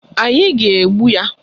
Anyị ga-egbu ya